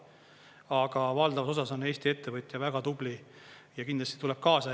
Aga valdavas osas on Eesti ettevõtja väga tubli ja kindlasti tuleb kaasa.